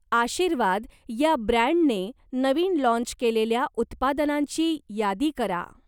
आशीर्वाद या ब्रँडने नवीन लाँच केलेल्या उत्पादनांची यादी करा?